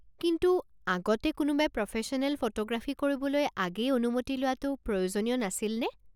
কিন্তু, আগতে কোনোবাই প্ৰফেশ্যনেল ফটোগ্ৰাফী কৰিবলৈ আগেয়ে অনুমতি লোৱাটো প্ৰয়োজনীয় নাছিলনে?